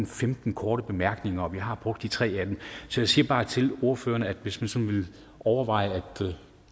femten korte bemærkninger og vi har brugt de tre af dem så jeg siger bare til ordførerne at hvis man sådan vil overveje at